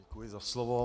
Děkuji za slovo.